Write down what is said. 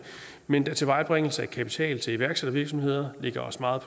men da tilvejebringelse af kapital til iværksættervirksomheder ligger os meget